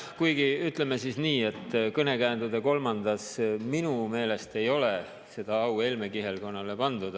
Kuigi ütleme siis nii, et kõnekäändude kolmandas minu meelest ei ole seda au Helme kihelkonnale pandud.